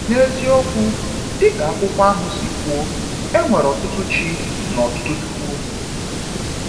N’eziokwu, dịka akwụkwọ ahụ si kwuo, “e nwere ọtụtụ ‘chi’ na ọtụtụ ‘chukwu’.”